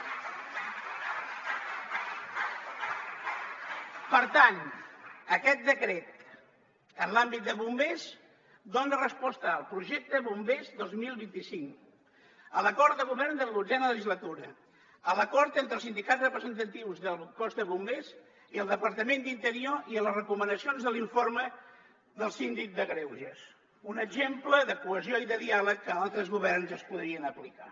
per tant aquest decret en l’àmbit de bombers dona resposta al projecte bombers dos mil vint cinc a l’acord de govern de la dotzena legislatura a l’acord entre els sindicats representatius del cos de bombers i el departament d’interior i a la recomanacions de l’informe del síndic de greuges un exemple de cohesió i de diàleg que altres governs es podrien aplicar